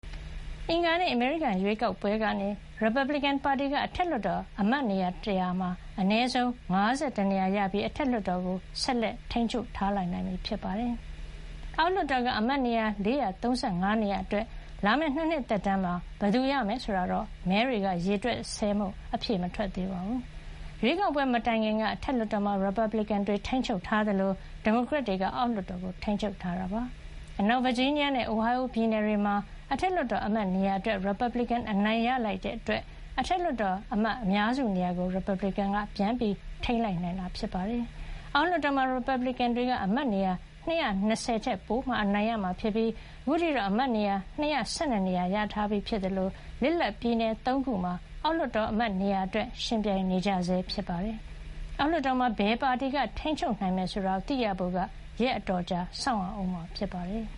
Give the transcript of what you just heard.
အင်္ဂါနေ့ အမေရိကန် ရွေးကောက်ပွဲကနေ ရီပတ်ဘလစ်ကင်ပါတီက အထက်လွှတ်တော် အမတ်နေရာ ၁၀၀ မှာ အနည်းဆုံး ၅၁ နေရာ ရပြီး အထက်လွှတ်တော်ကို ဆက်လက် ထိန်းချုပ်ထားနိုင်ပြီ ဖြစ်ပါတယ်။ အောက်လွှတ်တော်က အမတ်နေရာ ၄၃၅ နေရာအတွက် လာမယ့် ၂ နှစ်သက်တမ်း မှာ ဘယ်သူရမယ်ဆိုတာတော့ မဲတွေ ရေတွက်ဆဲမို့ အဖြေ မထွက်သေးပါဘူး။ ရွေးကောက်ပွဲ မတိုင်ခင်က အထက်လွှတ်တော်မှာ ရီပတ်ဘလစ်ကင်တွေ ထိန်းချုပ်ထားသလို ဒီမိုကရက်တွေ က အောက်လွှတ်တော်ကို ထိန်းချုပ်ထားတာပါ။ အနောက်ဗာဂျီးနီးယားနဲ့ Ohio ပြည်နယ်တွေမှာ အထက်လွှတ်တော် အမတ်နေရာအတွက် ရီပတ်ဘလစ်ကင် အနိုင်ရလိုက်တာကြောင့် အထက်လွှတ်တော် အမတ်အများစုနေရာကို ရီပတ်ဘလစ်ကင်က ပြန်ထိန်းထားနိုင်ခဲ့တာ ဖြစ်ပါတယ်။ အောက်လွှတ်တော်မှာ ရီပတ်ဘလစ်ကင်တွေက အမတ်နေရာ ၂၂၀ ထက်ပိုမှ အနိုင်ရမှာ ဖြစ်ပြီး ခုချိန်ထိတော့ အမတ်နေရာ ၂၁၂ နေရာ ရထားပြီး ဖြစ်သလို လစ်လပ်ပြည်နယ် ၃ ခုမှာ အောက်လွှတ်တော်အမတ်နေရာ အတွက် ယှဉ်ပြိုင်နေကြဆဲ ဖြစ်ပါတယ်။ အောက်လွှတ်တော်မှာ ဘယ်ပါတီက ထိန်းချုပ်နိုင်မယ် ဆိုတာ သိရဖို့ ရက်အတော်ကြာ စောင့်ရအုံးမှာ ဖြစ်ပါတယ်။